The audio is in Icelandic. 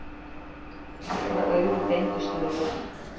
Allra augu beindust að Jóni.